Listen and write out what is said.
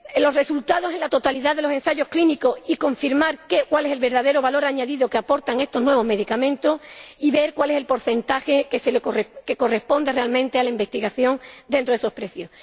los resultados de la totalidad de los ensayos clínicos y confirmar cuál es el verdadero valor añadido que aportan estos nuevos medicamentos y ver cuál es el porcentaje que corresponde realmente a la investigación dentro de esos precios.